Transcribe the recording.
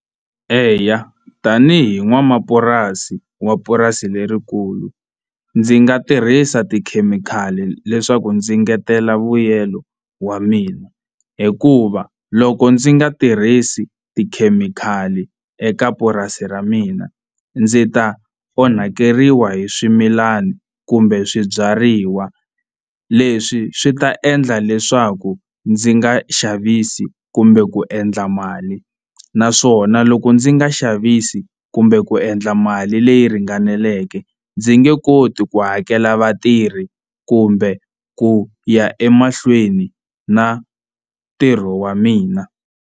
Eya tanihi n'wamapurasi wa purasi lerikulu ndzi nga tirhisa tikhemikhali leswaku ndzi engetela vuyelo wa mina hikuva loko ndzi nga tirhisi tikhemikhali eka purasi ra mina ndzi ta onhakeriwa hi swimilana kumbe swibyariwa leswi swi ta endla leswaku ndzi nga xavisi kumbe ku endla mali naswona loko ndzi nga xavisi kumbe ku endla mali leyi ringaneleke ndzi nge koti ku hakela vatirhi kumbe ku ya emahlweni na ntirho wa mina.